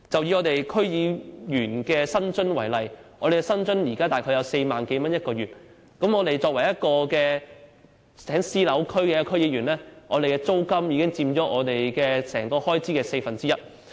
以區議員的薪津為例，我們現時的每月薪津約為4萬多元，但作為在私樓區工作的區議員，單單租金已經佔總開支四分之一。